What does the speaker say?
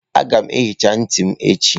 Aga m ehicha ntị m echi.